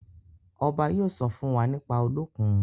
obá yóò sọ fún wá nípa Olókùn.